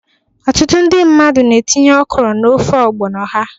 Ọtụtụ ndị mmadụ na-etinye okro n'ofe ọgbono ha.